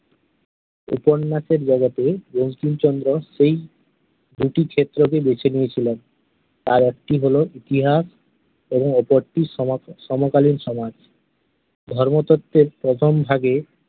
উপন্যাসের জগতে বঙ্কিমচন্দ্র সেই দুটি ক্ষেত্রকে বেছে নিয়েছিলেন । তার একটি হলো ইতিহাস এবং অপরটি সমকালীন সমাজ। ধর্মতত্ত্বের প্রথম ভাগে